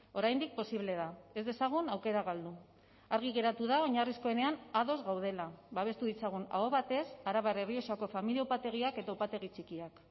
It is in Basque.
oraindik posible da ez dezagun aukera galdu argi geratu da oinarrizkoenean ados gaudela babestu ditzagun aho batez arabar errioxako familia upategiak eta upategi txikiak